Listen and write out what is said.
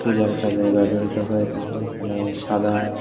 যার কাজে ব্যবহৃত হয় তাকে এখানে সাদা--